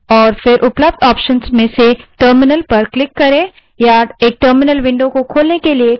accessories को चुनें और फिर उपलब्ध options से terminal पर click करें